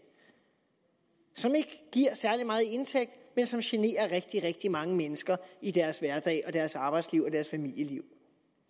som ikke giver særlig meget i indtægt men som generer rigtig rigtig mange mennesker i deres hverdag og deres arbejdsliv og deres familieliv